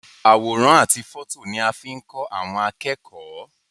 Àwòrán àti fọto ni a fi n kọ àwọn akẹ́kọ̀ọ́.